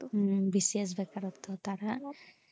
হুম bcs বেকারত্ব তারা,